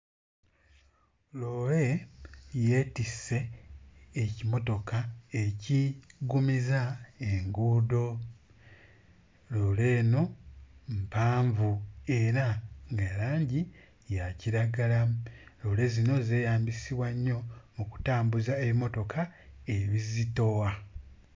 Loole yeetisse ekimotoka ekiggumiza enguudo. Loole eno mpanvu era ya langi ya kiragala. Loole zino zeeyambisibwa nnyo mu kutambuza emmotoka ebizitowa.